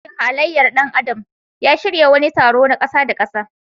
Sashin halayyar ɗan adam ya shirya wani taro na ƙasa-da-ƙasa.